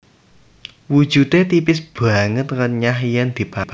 Wujude tipis banget renyah yen dipangan